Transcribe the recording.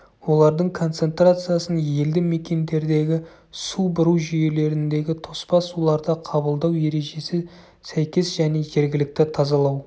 олардың концентрациясын елді мекендердегі су бұру жүйелеріндегі тоспа суларды қабылдау ережесі сәйкес және жергілікті тазалау